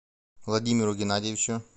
владимиру геннадьевичу